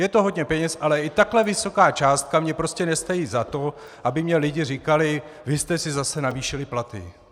Je to hodně peněz, ale i takhle vysoká částka mně prostě nestojí za to, aby mně lidi říkali: vy jste si zase navýšili platy.